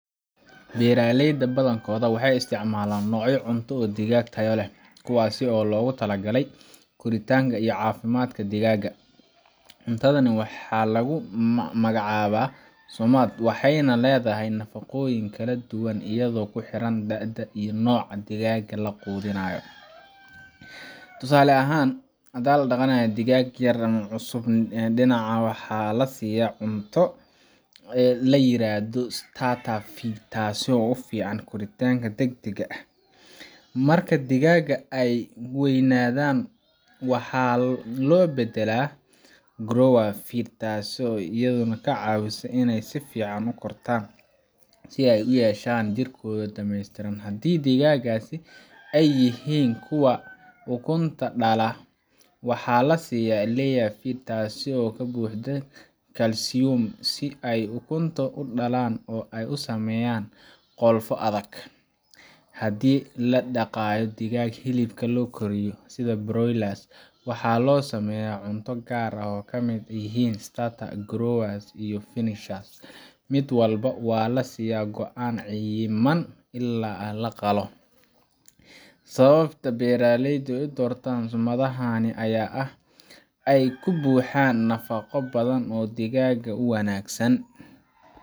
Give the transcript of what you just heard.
Beeraleyda badan kooda waxeey isticmaalaan noocya cunto oo digaag tayo leh kuwaas oo loogu tala galay koritaanka iyo cafimaadka digaaga, cuntadani waxaa lagu magacaaba sumaad waxeeyna ledahay nafaqooyin kala duban ayado kuxiran tahay dada iyo nooca digaaga uu quudinaayo, tusaale ahaan hadii la daqanaayo digaag yar, dinaca waxaa lasiiya cunto layiraahdo, taas oo ufican koritaanka dagdag ah, marka aay digaaga weynadaan, waxaa loo badalaa grower taasi oo kacawisa si aay uyeshan jirkooda dameestiran, digaagasi aay yihiin kuwa ukunta dala, waxaa lasiiya layer taas oo kabuuxda calcium si aay ukunta udalaan oo aay usameyan qolfo adag, hadii ladaqaalo digaaga hilibka loo koriyo sida broiler waxaa lasiiya cunto aay kamid yihiin starter, grower, finisher, mid walbo waa lasiiya cuno xayiban, beeraleyda aay udirtaan waxaa waye nafaqooyinka ku badan.